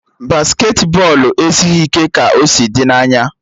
Basketị bọọlụ esighị ike ka o si dị n'anya